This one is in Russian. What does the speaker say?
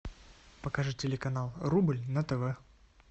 покажи телеканал рубль на тв